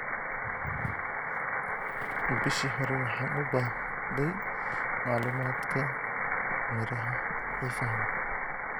Bishii hore, waxaan u baahday macluumaadka miraha xiisaha leh.